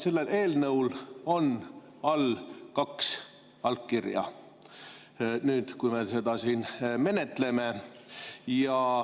Sellel eelnõul on all kaks allkirja nüüd, kui me seda siin menetleme.